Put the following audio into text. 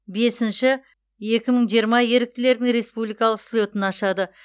бесінші екі мың жиырма еріктілердің республикалық слетін ашады